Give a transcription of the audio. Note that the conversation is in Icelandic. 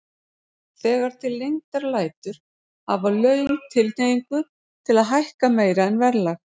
Þegar til lengdar lætur hafa laun tilhneigingu til að hækka meira en verðlag.